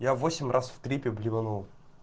я восемь раз в трипе блеванул